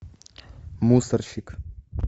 мусорщик